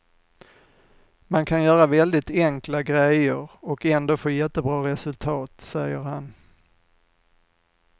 Man kan göra väldigt enkla grejer och ändå få jättebra resultat, säger han.